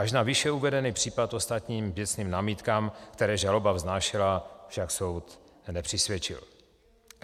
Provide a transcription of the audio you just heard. Až na výše uvedený případ ostatním věcným námitkám, které žaloba vznášela, však soud nepřisvědčil.